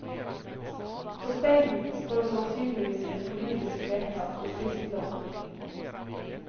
På steinen står sannsynligvis et politisk vedtak om kristendomenen.